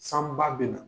San ba bɛ na